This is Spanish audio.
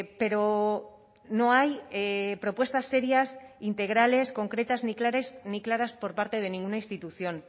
pero no hay propuestas serias integrales concretas ni claras por parte de ninguna institución